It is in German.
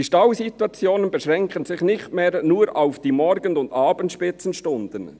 «Die Stausituationen beschränken sich […] nicht mehr nur auf die Morgen- und Abendspitzenstunden.